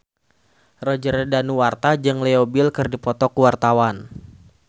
Roger Danuarta jeung Leo Bill keur dipoto ku wartawan